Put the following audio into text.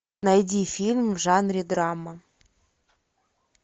найди фильм в жанре драма